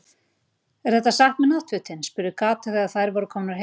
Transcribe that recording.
Er þetta satt með náttfötin? spurði Kata þegar þær voru komnar heim að